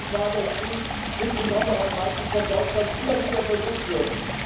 Mein Eindruck war, dass dies insbesondere am Beispiel von Deutschland immer wieder versucht wird.